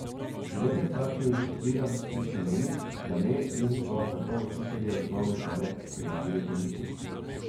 Nekaj staršev iz Šentvida pri Stični meni, da ne in so zato učitelje osnovne šole prijavili policiji.